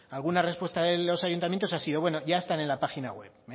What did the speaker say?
alguna respuesta de los ayuntamientos ha sido bueno ya están en la página web